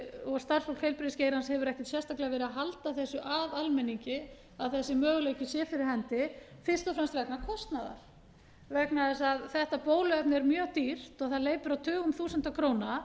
og starfsfólk heilbrigðisgeirans hefur ekkert sérstaklega verið að halda þessu að almenningi að þessi möguleiki sé fyrir hendi fyrst og fremst vegna kostnaðar vegna þess að þetta bóluefni er mjög dýrt og það hleypur á tugum þúsunda króna